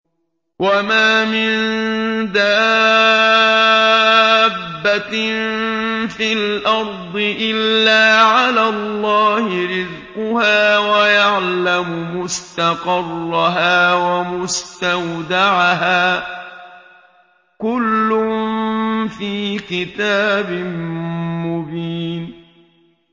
۞ وَمَا مِن دَابَّةٍ فِي الْأَرْضِ إِلَّا عَلَى اللَّهِ رِزْقُهَا وَيَعْلَمُ مُسْتَقَرَّهَا وَمُسْتَوْدَعَهَا ۚ كُلٌّ فِي كِتَابٍ مُّبِينٍ